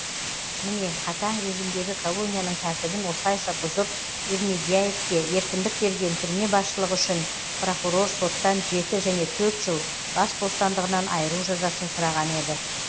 міне қатаң режимдегі колонияның тәртібін осылайша бұзып ермегиявке еркіндік берген түрме басшылығы үшін прокурор соттан жеті және төрт жыл бас бостандығынан айыру жазасын сұраған еді